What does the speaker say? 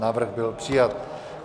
Návrh byl přijat.